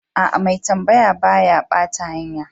Aa, mai tambaya ba ya bata hanya.